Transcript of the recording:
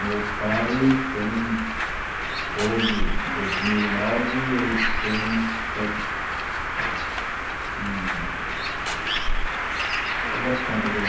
Meu pai tem... Hoje, em dois mil e nove, ele tem seten, hm... Fazer as contas aí.